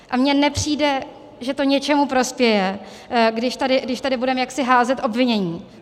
A mně nepřijde, že to něčemu prospěje, když tady budeme jaksi házet obvinění.